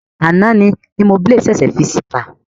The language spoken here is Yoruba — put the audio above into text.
Àná ni Limoblaze ṣèṣè fi síta.